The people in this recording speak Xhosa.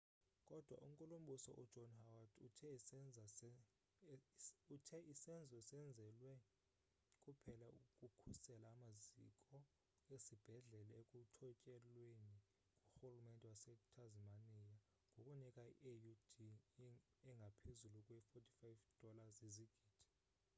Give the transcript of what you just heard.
kodwa u-nkulumbuso u-john howard uthe isenzo senzelwe kuphela ukukhusela amaziko esibhedlele ekuthotyelweni ngurhulumente wase-tasmania ngokunika i-aud engaphezulu kwe-$45 izigidi